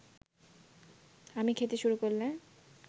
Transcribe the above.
আমি খেতে শুরু করলে